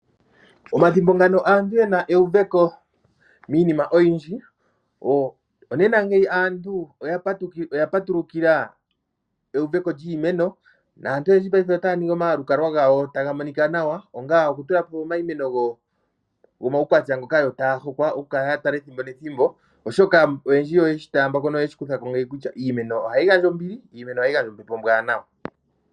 Omathimbo ngano aantu ye na euveko miinima oyindji, onena ngeyi aantu oya patulukila euveko lyiimeno naantu oyendji ngaashingeyi otaya ningi omalukalwa gawo taga monika nawa, ongele okutula po iimeno yomaukwatya ngoka taya kala ya hokwa okukala ya tala ethimbo nethimbo, oshoka aantu oyendji oye shi taamba ko ngeyi kutya iimeno ohayi gandja ombili, iimeno ohayi gandja ombepo ombwaanawa.